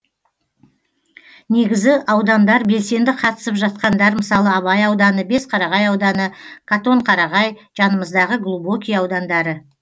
негізі аудандар белсенді қатысып жатқандар мысалы абай ауданы бесқарағай ауданы қатонқарағай жанымыздағы глубокий аудандары